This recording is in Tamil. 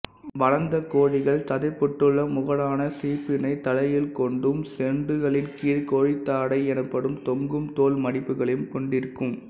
வளர்ந்த கோழிகள் சதைப்பற்றுள்ள முகடான சீப்பினை தலையில் கொண்டும் சொண்டுகளின் கீழ் கோழித்தாடை எனப்படும் தொங்கும் தோல் மடிப்புகளையும் கொண்டிருக்கும்